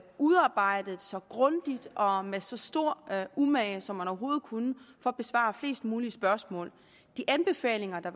udarbejdet så grundigt og med så stor umage som man overhovedet kunne for at besvare flest mulige spørgsmål de anbefalinger der